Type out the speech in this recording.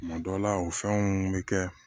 Tuma dɔ la o fɛnw bɛ kɛ